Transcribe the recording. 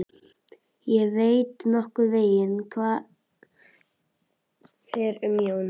Ég veit nokkurn veginn hvernig fer um Jón.